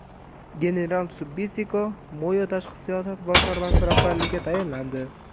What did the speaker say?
General Sibusiso Moyo tashqi siyosat boshqarmasi rahbarligiga tayinlandi.